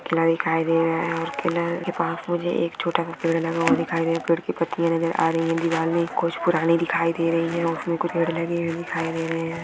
किला दिखाई दे रहा है और किला के पास मुझे एक छोटा सा पेड लगा हुआ दिखाई दे पेड़ की पत्तियां नजर आ रही है दिवार में कुछ पुराने दिखाई दे रही है और उसमें कुछ दिखाई दे रहे है।